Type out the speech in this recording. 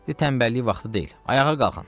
Dedi: tənbəllik vaxtı deyil, ayağa qalxın.